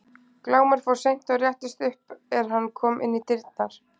Glámur fór seint og réttist upp er hann kom inn í dyrnar.